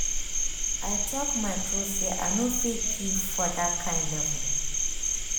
i talk my truth say i no fit give for that kyn level